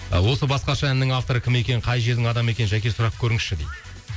осы басқаша әнінің авторы кім екенін қай жердің адамы екенін жәке сұрап көріңізші дейді